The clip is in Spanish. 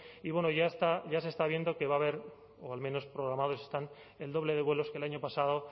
y bueno ya se está viendo que va a haber o al menos programados están el doble de vuelos que el año pasado